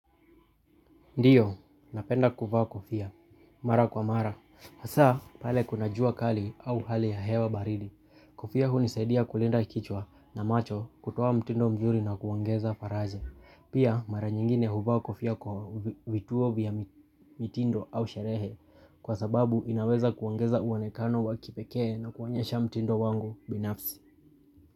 Ndiyo, napenda kuvaa kofia. Mara kwa mara. Hasa, pale kuna jua kali au hali ya hewa baridi. Kofia hunisaidia kulinda kichwa na macho kutoa mtindo mzuri na kuongeza faraja. Pia, mara nyingine huva kofia kwa vituo vya mtindo au sherehe. Kwa sababu, inaweza kuangeza uwanekano wa kipekee na kuonyesha mtindo wangu binafsi.